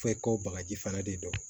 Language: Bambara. F'e ko bagaji fana de don